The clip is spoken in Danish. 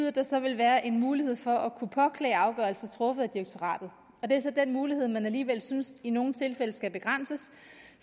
at der så vil være en mulighed for at kunne påklage afgørelser truffet af direktoratet det er så den mulighed man alligevel synes i nogle tilfælde skal begrænses